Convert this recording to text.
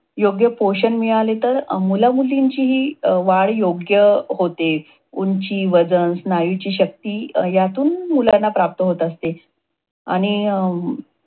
योग्य पोषण मिळाले तर मुलामुलींची वाढ अं ही योग्य होते. उंची, वजन, स्नायूची शक्ती यातून मुलांना प्राप्त होत असते. आणि अं